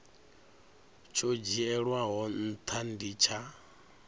tsho dzhielwaho ntha ndi tsha